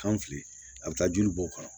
Kan fili a bɛ taa joli bɔ o kɔnɔ